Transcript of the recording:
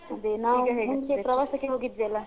ಮತ್ತೆ ಅದೇ ನಾವ್ ಮುಂಚೆ ಪ್ರವಾಸಕ್ಕೆ ಹೋಗಿದ್ದ್ವಿ ಆಲ್ಲ್ವಾ?